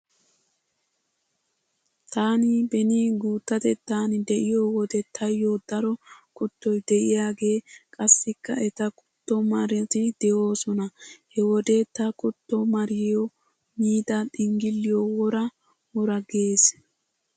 Taani beni guuttatettan diyo wode taayyo daro kuttoy diyaagee qassikka eta kuttomarati de'oosona. He wode ta kuttomariyo miida xinggilliyo wora wora gees.